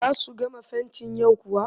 Za su gama fentin yau kuwa?